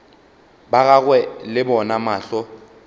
ba gagwe le bona mahlo